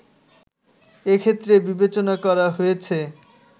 এক্ষেত্রে বিবেচনা করা হয়েছে